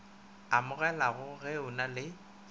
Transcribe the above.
amogelago ge o na le